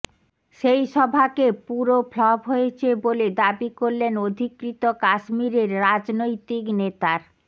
সেই সভাকে পুরো ফ্লপ হয়েছে বলে দাবি করলেন অধিকৃত কাশ্মীরের রাজনৈতিক নেতার